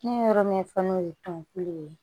Ne ye yɔrɔ min fɔ n'o ye tɔnkulu ye